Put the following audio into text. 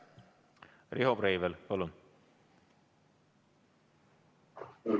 Riho Breivel, palun!